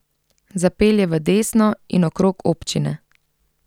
Zapelje v desno in okrog občine.